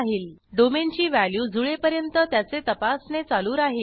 domain ची value जुळेपर्यंत त्याचे तपासणे चालू राहिल